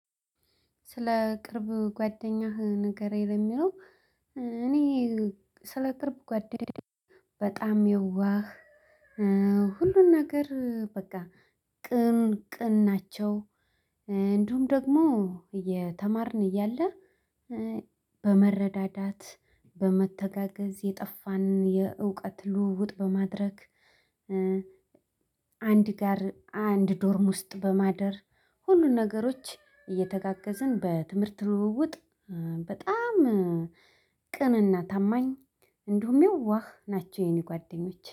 ስለ ቅርብ ጓደኛህ ንገረኝ? ለሚለው እኔ ስለ ቅርብ ጓደኛ በጣም የዋህ፣ ሁሉን ነገር በቃ ቅን ቅን ናቸው። እንዲሁም ደግሞ የተማርን እያለ በመረዳዳት በመተጋገዝ የጠፋንን የእውቀት ልውውጥ በማድረግ። አንድ ጋር አንድ ዶርም ውስጥ በማደር ሁሉን ነገሮች እየተጋገዝን በትምህርት ልውውጥ። በጣም ቅንና ታማኝ እንዲሁም የዋህ ናቸው የኔ ጓደኞች